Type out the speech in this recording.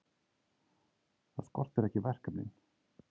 Það skortir ekki verkefnin.